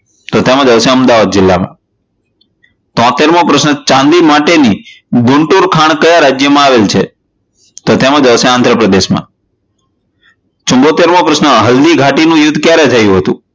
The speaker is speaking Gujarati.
તો એમાં આવશે અમદાવાદ જિલ્લામાં. તોતેર મો પ્રશ્ન ચાંદી માટેની ગુણપુર ખાણ કયા રાજયમાં આવેલી છે? તો તેમાં જવાબ આવશે આંધ્ર પ્રદેશમાં ચૂમોટેર મો પ્રશ્ન હલદિઘાતી નું યુધ્ધ કયારે થયું હતું?